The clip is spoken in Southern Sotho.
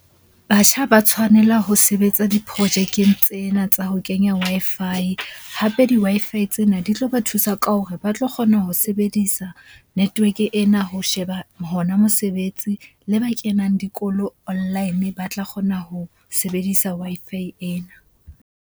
Batjha ba tshwanela ho sebetsa diprojekeng tsena tsa ho kenya Wi-Fi. Hape di Wi-Fi tsena di tlo ba thusa ka hore ba tlo kgona ho sebedisa network-e ena ho sheba hona mosebetsi. Le ba kenang dikolo online ba tla kgona ho sebedisa Wi-Fi ena.